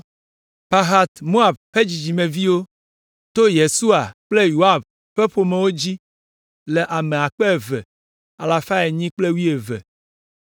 Pahat Moab ƒe dzidzimeviwo, to Yesua kple Yoab ƒe ƒomewo dzi le ame akpe eve alafa enyi kple wuieve (2,812).